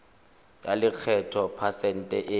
ya lekgetho phesente e